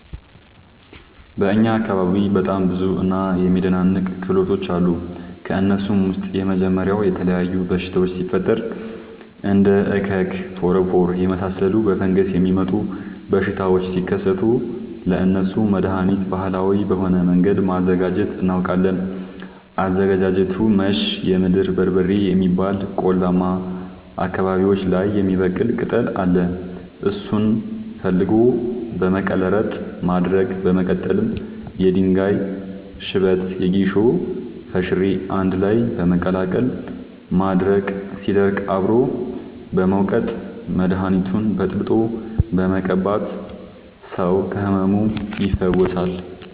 በእኛ አካባቢ በጣም ብዙ እና የሚደናንቅ ክህሎቶች አሉ። ከእነሱም ውስጥ የመጀመሪያው የተለያዩ በሽታወች ሲፈጠሪ እንደ እከክ ፎረፎር የመሳሰሉ በፈንገስ የሚመጡ በሽታዎች ሲከሰቱ ለእነሱ መደሀኒት ባህላዊ በሆነ መንገድ ማዘጋጀት እናውቃለን። አዘገጃጀቱመሸ የምድር በርበሬ የሚባል ቆላማ አካባቢዎች ላይ የሚበቅል ቅጠል አለ እሱን ፈልጎ በመቀለረጥ ማድረቅ በመቀጠልም የድንጋይ ሽበት የጌሾ ፈሸሬ አንድላይ በመቀላቀል ማድረቅ ሲደርቅ አብሮ በመውቀጥ መደኒቱን በጥብጦ በመቀባት ሰው ከህመሙ ይፈወሳል።